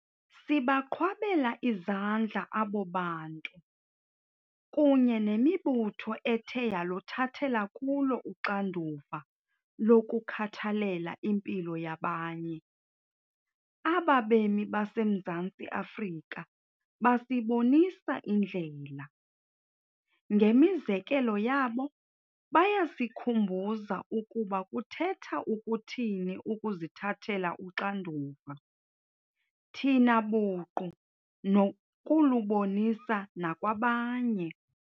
Sibaqhwabela izandla abo bantu kunye nemibutho ethe yaluthathela kulo uxanduva lokukhathalela impilo yabanye. Aba bemi baseMzantsi Afrika basibonisa indlela. Ngemizekelo yabo, bayasikhumbuza ukuba kuthetha ukuthini ukuzithathela uxanduva thina buqu nokulubonisa nakwabanye.